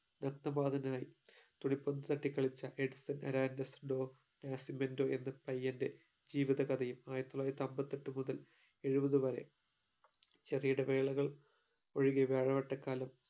രക്ത പാദുതനായി തുണി പന്ത് തട്ടി കളിച്ച എഡ്സൺ ആരാന്റസ് ഡോ നാഷിമെന്റോ എന്ന പയ്യൻറെ ജീവിതകഥയും ആയിരത്തി തൊള്ളായിരത്തി അമ്പത്തെട്ട് മുതൽ എഴുപത് വരെ ചെറിയ ഇടവേളകൾ ഒഴികെ വ്യാഴവട്ടക്കാലം